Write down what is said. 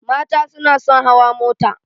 Mata suna son hawa mota